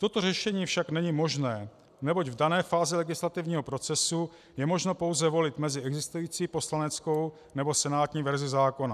Toto řešení však není možné, neboť v dané fázi legislativního procesu je možno pouze volit mezi existující poslaneckou nebo senátní verzí zákona.